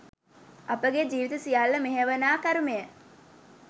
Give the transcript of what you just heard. අපගේ ජීවිත සියල්ල මෙහෙයවනා කරුමය